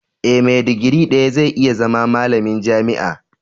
Eh, me digiri daya zai iya zama malamin jami'a.